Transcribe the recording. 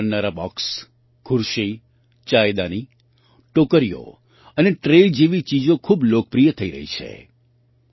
વાંસથી બનનારાં બૉક્સ ખુરશી ચાયદાની ટોકરીઓ અને ટ્રે જેવી ચીજો ખૂબ લોકપ્રિય થઈ રહી છે